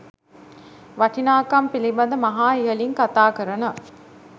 වටිනාකම් පිළිබඳ මහා ඉහළින් කතා කරන